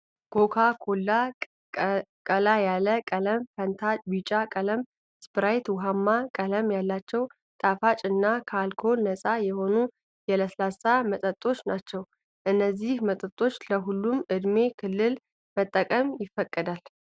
ኮካኮላ ቀላ ያለ ቀለም፣ ፋንታ ቢጫ ቀለም ፣ስፕራይት ውሃማ ቀለም ያላቸው ጣፋጭ እና ከአልኮል ነፃ የሆኑ የለስላሳ መጠጦች ናቸው። እነዚህን መጠጦች ለሁሉም የእድሜ ክልል መጠቀም ይፈቀዳል።